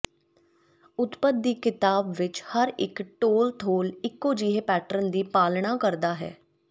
ਉਤਪਤ ਦੀ ਕਿਤਾਬ ਵਿਚ ਹਰ ਇਕ ਟੋਲਥੋਲ ਇਕੋ ਜਿਹੇ ਪੈਟਰਨ ਦੀ ਪਾਲਣਾ ਕਰਦਾ ਹੈ